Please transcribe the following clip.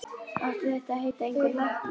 Átti þetta að heita einhver lækning?